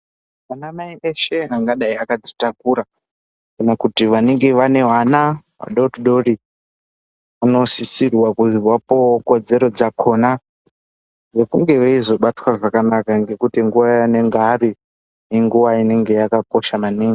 Anamai eshe angadai akadzitakura kana kuti vanenge vane vana vadodori vanosisirwa kuzi vapuwewo kodzero dzakona dzekunge veizobatwa zvakanaka ngekuti nguwa yanenge ari inguwa inenge yakakosha maningi.